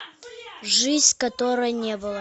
жизнь которой не было